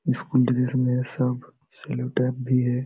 School dress में सब cello tape भी है।